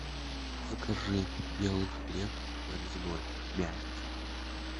закажи белый хлеб нарезной мягкий